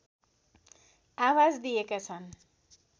आवाज दिएका छन्